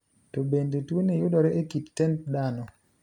To bende tuoni yudore e kit tend dahno?